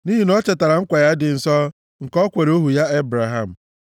Nʼihi na o chetara nkwa ya dị nsọ, nke o kwere ohu ya Ebraham.